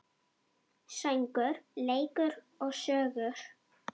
Söngur, leikur og sögur.